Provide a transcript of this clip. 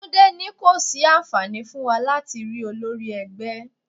Túndé ní kò sí àǹfààní fún wa láti rí olórí ẹgbẹ́.